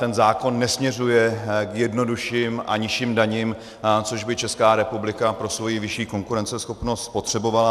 Ten zákon nesměřuje k jednodušším a nižším daním, což by Česká republika pro svoji vyšší konkurenceschopnost potřebovala.